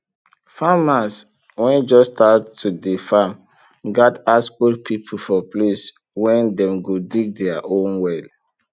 farmers wen just start to dey farm gat ask old people for place wen dem go dig dier own well